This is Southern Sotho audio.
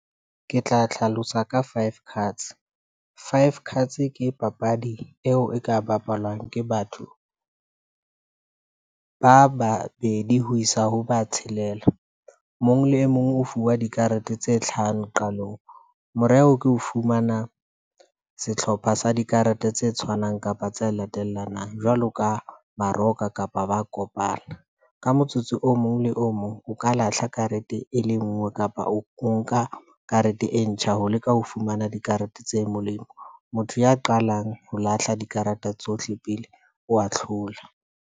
Ke tla hlalosa ka five cards, five cards ke papadi eo e ka bapalwang ke batho ba babedi ho isa ho ba tshelela. mong le e mong o fuwa dikarete tse tlhahang qalong. Moreo ke o fumana sehlopha sa dikarete tse tshwanang kapa tse latellanang jwalo ka baroka kapa ba kopana. Ka motsotso o mong le o mong o ka lahla karete e le nngwe kapa o nka karete e ntjha ho leka ho fumana dikarete tse molemo. Motho ya qalang ho lahla dikarata tsohle pele o wa tlhola.